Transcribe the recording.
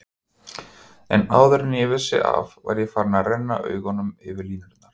En áður en ég vissi af var ég farinn að renna augunum yfir línurnar.